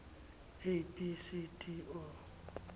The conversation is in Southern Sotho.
a b c d o